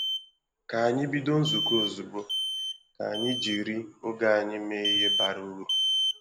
Ka ànyị bido nzukọ ozugbo, ka anyị jiri oge anyị mee ihe bara uru.